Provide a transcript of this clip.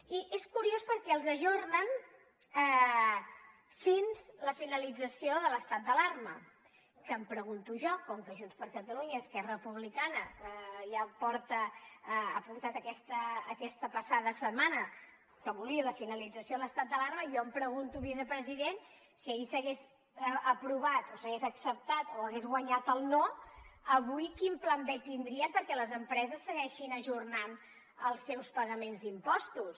i és curiós perquè els ajornen fins a la finalització de l’estat d’alarma que em pregunto jo com que junts per catalunya i esquerra republicana ja han portat aquesta passada setmana que volien la finalització l’estat d’alarma jo em pregunto vicepresident si ahir s’hagués aprovat o s’hagués acceptat o hagués guanyat el no avui quin pla b tindrien perquè les empreses segueixin ajornant els seus pagaments d’impostos